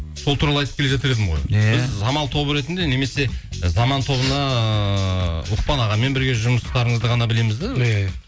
сол туралы айтып келе жатыр едім ғой самал тобы ретінде немесе і заман тобына ұлықпан ағамен бірге жұмыстарыңызды ғана білеміз де иә иә